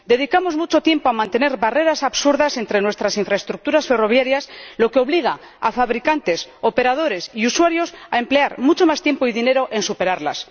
Dedicamos mucho tiempo a mantener barreras absurdas entre nuestras infraestructuras ferroviarias, lo que obliga a fabricantes, operadores y usuarios a emplear mucho más tiempo y dinero en superarlas.